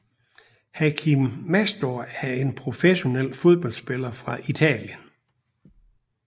Hachim Mastour er en professionel fodboldspiller fra Italien